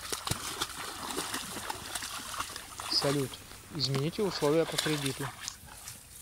салют измините условия по кредиту